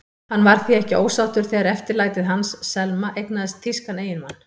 Hann var því ekki ósáttur þegar eftirlætið hans, Selma, eignaðist þýskan eiginmann.